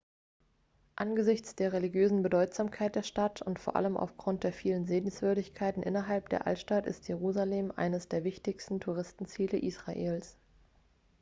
angesichts der religiösen bedeutsamkeit der stadt und vor allem aufgrund der vielen sehenswürdigkeiten innerhalb der altstadt ist jerusalem eines der wichtigsten touristenziele israels